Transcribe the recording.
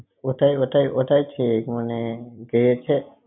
ওঁটাই~ ওঁটাই~ ওঁটাই ঠিক মানে, ,